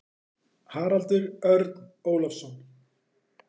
Haraldur Örn Ólafsson.